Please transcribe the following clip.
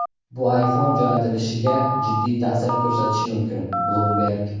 bu iPhone jo‘natilishiga jiddiy ta’sir ko‘rsatishi mumkin – "Bloomberg".